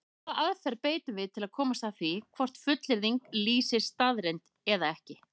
Hvaða aðferð beitum við til að komast að því hvort fullyrðing lýsir staðreynd eða ekki?